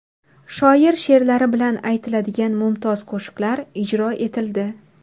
Shoir she’rlari bilan aytiladigan mumtoz qo‘shiqlar ijro etildi.